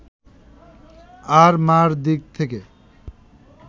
আর মা’র দিক থেকে